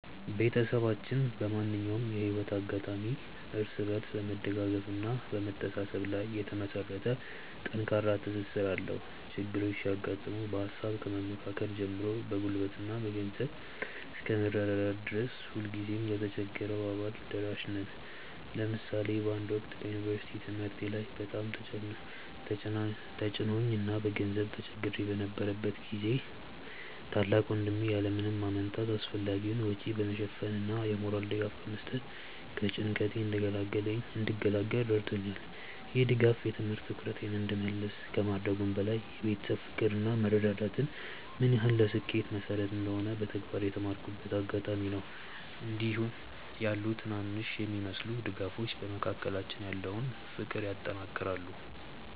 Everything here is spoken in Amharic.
ቤተሰባችን በማንኛውም የህይወት አጋጣሚ እርስ በርስ በመደጋገፍና በመተሳሰብ ላይ የተመሰረተ ጠንካራ ትስስር አለው። ችግሮች ሲያጋጥሙ በሃሳብ ከመመካከር ጀምሮ በጉልበትና በገንዘብ እስከ መረዳዳት ድረስ ሁልጊዜም ለተቸገረው አባል ደራሽ ነን። ለምሳሌ በአንድ ወቅት በዩኒቨርሲቲ ትምህርቴ ላይ በጣም ተጭኖኝ እና በገንዘብ ተቸግሬ በነበረበት ጊዜ ታላቅ ወንድሜ ያለ ምንም ማመንታት አስፈላጊውን ወጪ በመሸፈን እና የሞራል ድጋፍ በመስጠት ከጭንቀቴ እንድገላገል ረድቶኛል። ይህ ድጋፍ የትምህርት ትኩረቴን እንድመልስ ከማድረጉም በላይ የቤተሰብ ፍቅር እና መረዳዳት ምን ያህል ለስኬት መሰረት እንደሆነ በተግባር የተማርኩበት አጋጣሚ ነበር። እንዲህ ያሉ ትናንሽ የሚመስሉ ድጋፎች በመካከላችን ያለውን ፍቅር ያጠናክራሉ።